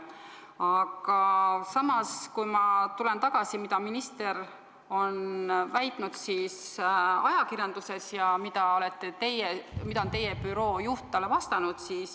Aga tulen tagasi selle juurde, mida minister on väitnud ajakirjanduses ja mida on teie büroo juht talle vastanud.